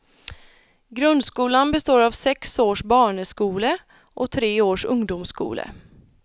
Grundskolan består av sex års barneskole och tre års ungdomsskole.